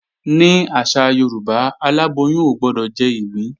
Ní àṣà Yorùbá, aláboyún ò gbọdọ̀ jẹ́ ìgbín